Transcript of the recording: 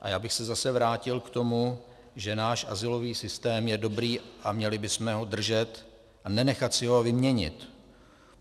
A já bych se zase vrátil k tomu, že náš azylový systém je dobrý a měli bychom ho držet a nenechat si ho vyměnit.